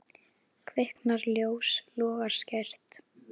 Kviknar ljós, logar skært.